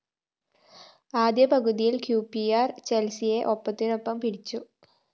ആദ്യ പകുതിയില്‍ Q P R ചെല്‍സിയെ ഒപ്പത്തിനൊപ്പം പിടിച്ചു